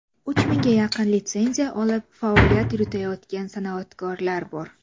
Uch mingga yaqin litsenziya olib faoliyat yuritayotgan san’atkorlar bor.